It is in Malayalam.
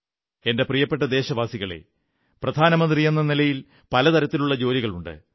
എന്റെ പ്രിയപ്പെട്ട ദേശവാസികളേ പ്രധാനമന്ത്രിയെന്ന നിലിയൽ പല തരത്തിലുള്ള ജോലികളുണ്ട്